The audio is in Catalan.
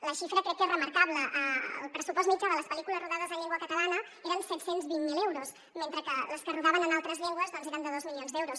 la xifra crec que és remarcable el pressupost mitjà de les pel·lícules rodades en llengua catalana eren set cents i vint miler euros mentre que el de les que es rodaven en altres llengües doncs eren dos milions d’euros